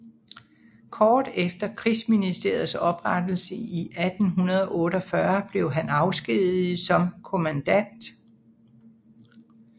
Kort efter Krigsministeriets oprettelse 1848 blev han afskediget som kommandant